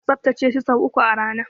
Muna tsaftace shi sau uku a rana.